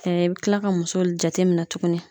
i bi kila ka muso jateminɛ tuguni